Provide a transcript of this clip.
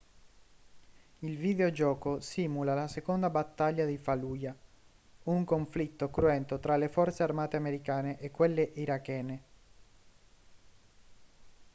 il videogioco simula la seconda battaglia di fallujah un conflitto cruento tra le forze armate americane e quelle irachene